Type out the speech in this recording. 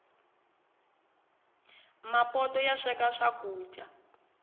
mapoto masweka swakuja